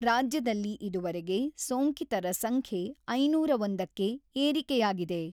ರಾಜ್ಯದಲ್ಲಿ ಇದುವರೆಗೆ ಸೋಂಕಿತರ ಸಂಖ್ಯೆ ಐನೂರ ಒಂದಕ್ಕೆ ಏರಿಕೆಯಾಗಿದೆ.